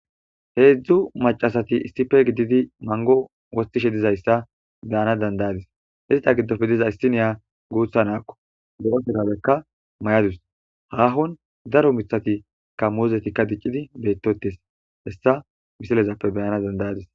Heedzdzu macasati issife gididi mango wostishe dizayssa beyana dandayadis izta giddofe diza issiniya guutha naakko bo7osegabekka may7adus haahon daro mithati ka muozetikka diccidi beyttotes hessa misilezappe beyana dandayadis.